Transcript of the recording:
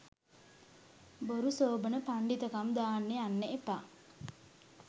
බොරු සෝබන පණ්ඩිතකම් දාන්න යන්න එපා.